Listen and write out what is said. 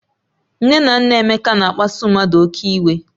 Nne na nna Emeka na-akpasu mmadụ oke iwe